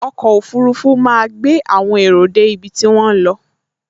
Ọkọ̀ ọfurufú máa gbé àwọn èrò dé ibi tí wọ́n ń lọ